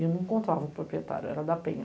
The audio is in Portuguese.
E eu não encontrava o proprietário, era da Penha.